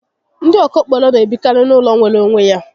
Ndi okokporo n'ebikari n'ulo nwere onwe ya